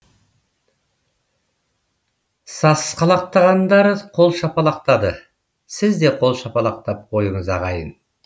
сасқалақтағандары қол шапалақтады сіз де қол шапалақтап қойыңыз ағайын